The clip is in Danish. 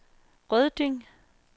Rødding